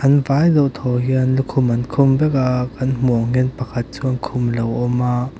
an vai deuh thaw hian lukhum an khum vek a kan hmu ang hian pakhat chuan khum lo awm a.